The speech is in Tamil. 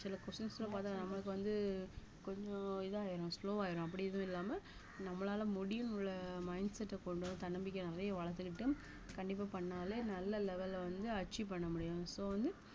சில questions ல பார்த்தா நம்மளுக்கு வந்து கொஞ்சம் இதாயிடும் slow ஆயிடும் அப்படி எதுவும் இல்லாம நம்மளால முடியும் உள்ள mindset அ கொண்டு வர தன்னம்பிக்கைய நிறைய வளர்த்துக்கிட்டும் கண்டிப்பா பண்ணாலே நல்ல level அ வந்து achieve பண்ண முடியும் so வந்து